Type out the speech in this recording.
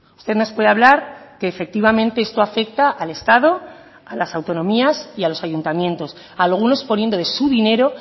usted nos puede hablar que efectivamente esto afecta al estado a las autonomías y a los ayuntamientos algunos poniendo de su dinero